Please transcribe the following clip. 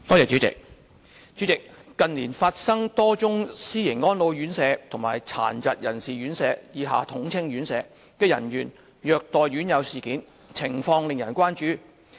主席，近年發生多宗私營安老院舍和殘疾人士院舍的人員虐待院友事件，情況令人關注。